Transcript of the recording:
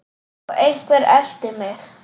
Og einhver elti mig.